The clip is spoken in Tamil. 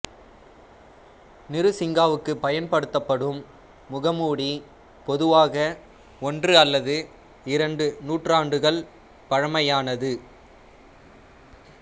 நிருசிங்காவுக்கு பயன்படுத்தப்படும் முகமூடி பொதுவாக ஒன்று அல்லது இரண்டு நூற்றாண்டுகள் பழமையானது